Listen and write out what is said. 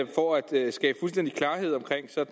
skabe fuldstændig klarhed